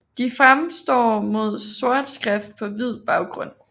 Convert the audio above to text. De fremstår med sort skrift på hvid baggrund